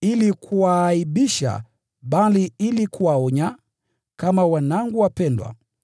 ili kuwaaibisha, bali ili kuwaonya, kama wanangu wapendwa.